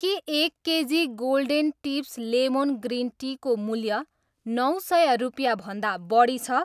के एक KG golden tips lemon green tea को मूल्य नौ सय रुपियाँभन्दा बढी छ?